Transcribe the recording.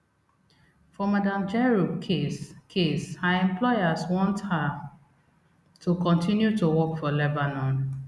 for madam jerop case case her employers want her to continue to work for lebanon